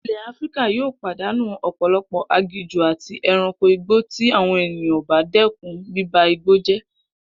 Ilè̩ Áfíríkà yóò pàdánù ò̩pò̩lo̩pò̩ aginjù àti e̩ranko igbó tí àwo̩n ènìyàn ò bá dé̩kun bíba igbó jé̩